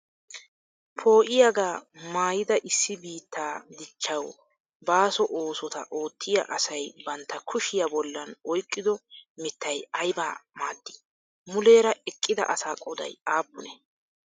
Poo'iyaaga maayida issi biitaa diichchawu baasso oosotaa ootiyaa asay bantta kushiya bollan oyqqido miittay ayba maadi? Muleera eqqida asaa qooday appunee?